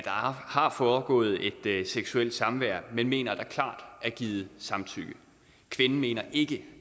har foregået et seksuelt samvær men mener at der klart er givet samtykke kvinden mener ikke